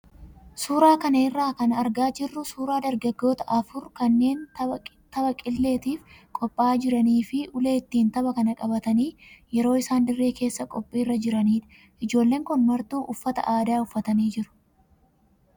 Suuraa kana irraa kan argaa jirru suuraa dargaggoota afur kanneen tapha qilleetiif qophaa'aa jiranii fi ulee ittiin tapha kana qabatanii yeroo isaan dirree keessaa qophiirra jiranidha. Ijoolleen kun martuu uffata adii uffatanii jiru.